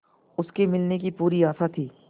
उसके मिलने की पूरी आशा थी